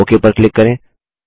okay पर click करें